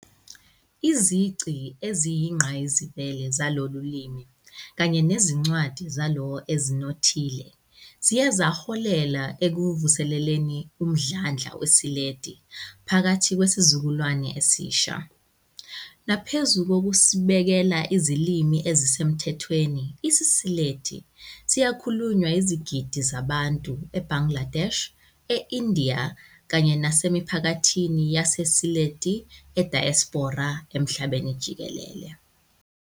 Izici eziyingqayizivele zalolu limi, kanye nezincwadi zalo ezinothile, ziye zaholela ekuvuseleleni umdlandla weSylheti phakathi kwesizukulwane esisha. Naphezu kokusibekela izilimi ezisemthethweni, isiSylheti sisakhulunywa izigidi zabantu e-Bangladesh, e-India kanye nasemiphakathini yaseSylhetti ediaspora emhlabeni jikelele.